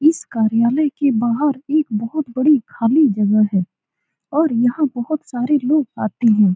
इस कार्यालय के बाहर एक बहुत बड़ी खाली जगह है। और यहाँ बहुत सारे लोग आते हैं।